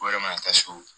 O yɛrɛ ma na taa so